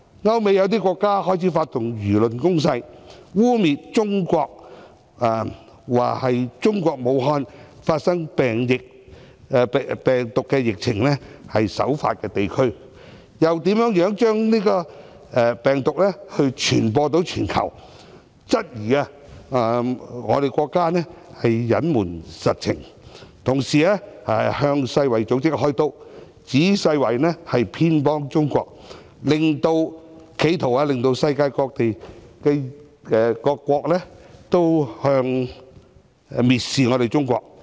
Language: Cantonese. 歐美有些國家開始發動輿論攻勢，污衊中國，指是次病毒疫情的首發地區是中國武漢，又如何將是次病毒傳播全球，質疑中國隱瞞實情，同時向世界衞生組織"開刀"，指世衞偏袒中國，企圖令世界各國蔑視中國。